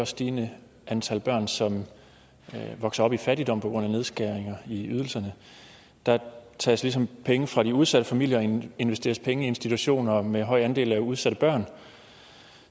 stigende antal børn som vokser op i fattigdom på grund af nedskæringer i ydelserne der tages ligesom penge fra de udsatte familier og investeres penge i institutioner med en høj andel af udsatte børn